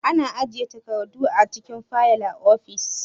Ana ajiyan takardu a cikin fayil a ofis.